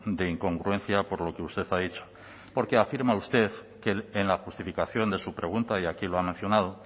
de incongruencia por lo que usted ha dicho porque afirma usted en la justificación de su pregunta y aquí lo ha mencionado